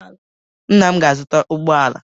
Nna m ga-azuta ụgbọala